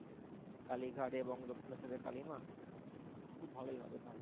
কালীঘাট এবং দক্ষিণেশ্বরের কালী মা খুব ভালোই হবে তাহলে।